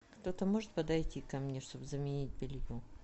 кто то может подойти ко мне чтобы заменить белье